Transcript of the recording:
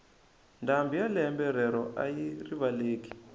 ndhambi ya lembe rero ayi rivaleki